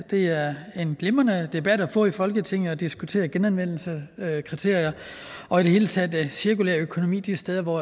det er en glimrende debat at få i folketinget at diskutere genanvendelseskriterier og i det hele taget cirkulær økonomi de steder hvor